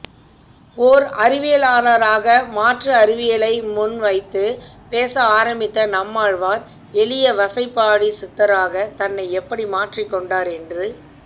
ஓர் அறிவியலாளராக மாற்று அறிவியலை முன்வைத்துப் பேச ஆரம்பித்த நம்மாழ்வார் எளிய வசைபாடிச்சித்தராக தன்னை எப்படி மாற்றிக்கொண்டார் என்று